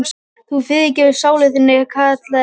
Þú fyrirgerir sálu þinni, kallaði biskup.